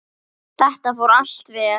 Þetta fór allt vel.